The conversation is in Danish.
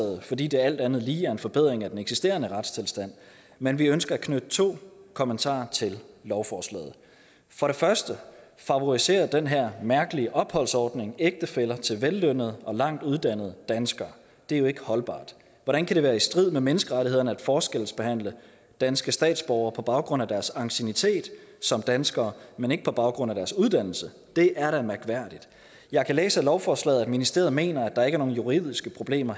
fordi det alt andet lige er en forbedring af den eksisterende retstilstand men vi ønsker at knytte to kommentarer til lovforslaget for det første favoriserer den her mærkelige opholdsordning ægtefæller til vellønnede og langt uddannede danskere det er jo ikke holdbart hvordan kan det være i strid med menneskerettighederne at forskelsbehandle danske statsborger på baggrund af deres anciennitet som danskere men ikke på baggrund af deres uddannelse det er da mærkværdigt jeg kan læse ud af lovforslaget at ministeriet mener at der ikke er nogen juridiske problemer